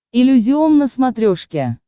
иллюзион на смотрешке